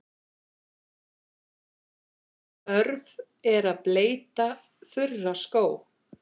Þörf er að bleyta þurra skó.